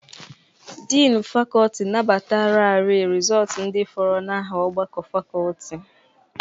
Dịnị fakọltị nabatararị rịzọọtụ ndị fọrọ n'aha ọgbakọ fakọltị.